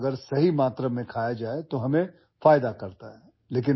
যিহেতু মই ভাবো বিশুদ্ধ ঘিউ সঠিক পৰিমাণত সেৱন কৰিলে আমাৰ বাবে উপকাৰী